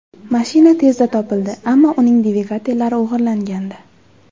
Mashina tezda topildi, ammo uning dvigatellari o‘g‘irlangandi.